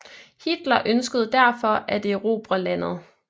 Hitler ønskede derfor at erobre landet